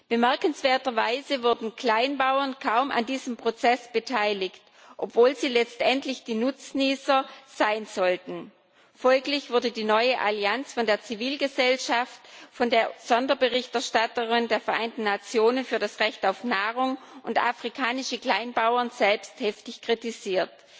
Bemerkenswerterweise wurden Kleinbauern kaum an diesem Prozess beteiligt, obwohl sie letztendlich die Nutznießer sein sollten. Folglich wurde die neue Allianz von der Zivilgesellschaft, von der Sonderberichterstatterin der Vereinten Nationen für das Recht auf Nahrung und von afrikanischen Kleinbauern selbst heftig kritisiert.